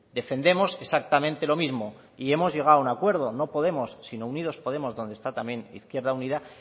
defendemos exactamente lo mismo y hemos llegado a un acuerdo no podemos sino unidos podemos donde está también izquierda unida